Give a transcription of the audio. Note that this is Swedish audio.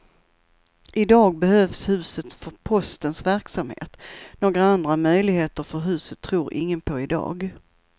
Idag behövs huset för postens verksamhet, några andra möjligheter för huset tror ingen på idag.